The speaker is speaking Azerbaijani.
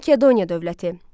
Makedoniya dövləti.